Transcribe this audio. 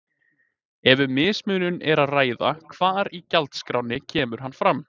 Ef um mismunun er að ræða hvar í gjaldskránni kemur hann fram?